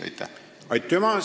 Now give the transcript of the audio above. Aitüma!